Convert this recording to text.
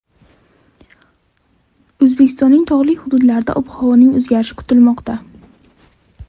O‘zbekiston tog‘li hududlarida ob-havoning o‘zgarishi kutilmoqda.